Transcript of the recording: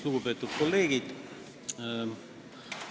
Lugupeetud kolleegid!